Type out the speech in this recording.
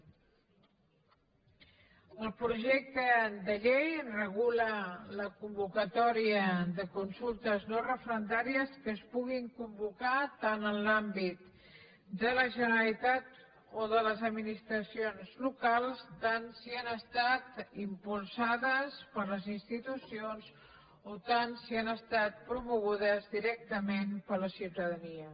el projecte de llei regula la convocatòria de consultes no referendàries que es puguin convocar tant en l’àmbit de la generalitat o de les administracions locals tant si han estat impulsades per les institucions o tant si han estat promogudes directament per la ciutadania